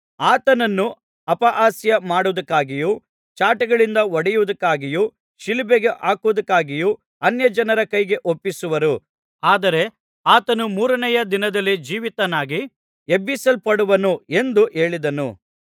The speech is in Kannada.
ಆತನನ್ನು ಅಪಹಾಸ್ಯ ಮಾಡುವುದಕ್ಕಾಗಿಯೂ ಚಾಟಿಗಳಿಂದ ಹೊಡೆಯುವುದಕ್ಕಾಗಿಯೂ ಶಿಲುಬೆಗೆ ಹಾಕುವುದಕ್ಕಾಗಿಯೂ ಅನ್ಯಜನರ ಕೈಗೆ ಒಪ್ಪಿಸುವರು ಆದರೆ ಆತನು ಮೂರನೆಯ ದಿನದಲ್ಲಿ ಜೀವಿತನಾಗಿ ಎಬ್ಬಿಸಲ್ಪಡುವನು ಎಂದು ಹೇಳಿದನು